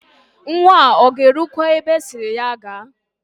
Nwa a ọ ga-erukwa ebe asịrị ya gaa?